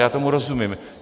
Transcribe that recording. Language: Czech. Já tomu rozumím.